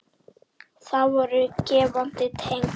Það voru gefandi tengsl.